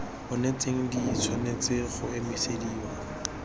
onetseng di tshwanetse go emisediwa